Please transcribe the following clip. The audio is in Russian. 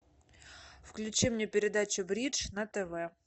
включи мне передачу бридж на тв